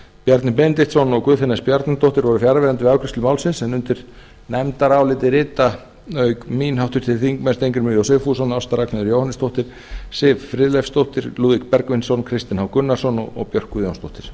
bjarni benediktsson og guðfinna s bjarnadóttir voru fjarverandi við afgreiðslu málsins en undir nefndarálitið rita auk mín háttvirtir þingmenn steingrímur j sigfússon ásta ragnheiður jóhannesdóttir siv friðleifsdóttir lúðvík bergvinsson kristinn h gunnarsson og björk guðjónsdóttir